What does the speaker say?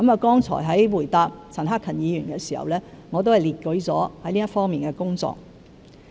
剛才在回答陳克勤議員時，我已列舉了這方面的工作。